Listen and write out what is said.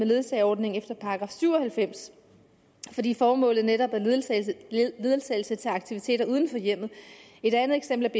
ledsageordningen i § syv og halvfems fordi formålet netop er ledsagelse til aktiviteter uden for hjemmet et andet eksempel